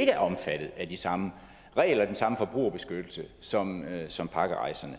er omfattet af de samme regler den samme forbrugerbeskyttelse som som pakkerejserne